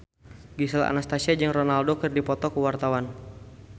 Gisel Anastasia jeung Ronaldo keur dipoto ku wartawan